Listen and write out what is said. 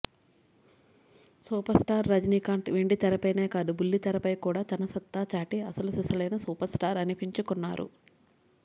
super star Rajinikanth వెండితెరపైనే కాదు బుల్లితెరపై కూడా తన సత్తా చాటి అసలు సిసలైన సూపర్ స్టార్ అనిపించుకున్నారు